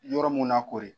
Yɔrɔ mun na koori